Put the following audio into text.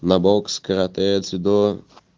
на бокс каратэ дзюдо